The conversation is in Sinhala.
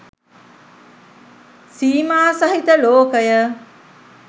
සීමාසහිත ලෝකය